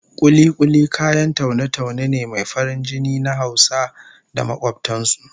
Kuli-kuli kayan taune-taune ne mai farin jini na Hausa da makobtan su